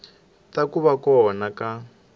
ta ku va kona ka